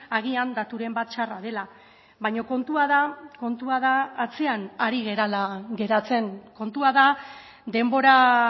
agian daturen bat txarra dela baina kontua da kontua da atzean ari garela geratzen kontua da denbora